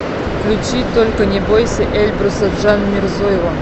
включи только не бойся эльбруса джанмирзоева